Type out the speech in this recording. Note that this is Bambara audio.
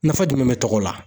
Nafa jumɛn bɛ tɔgɔ la